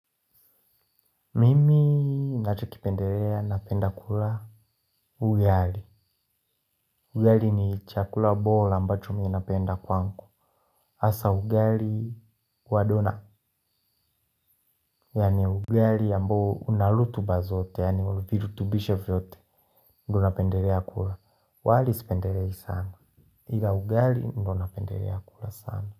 Mimi nachokipendelea napenda kula ugali. Ugali ni chakula bora ambacho mi napenda kwangu. Hasa ugali wa dona. Yani ugali ambao una rutuba zote, yani virutubisho vyote. Ndo napendelea kula. Wali sipendelei sana. Iga ugali ndo napendelea kula sana.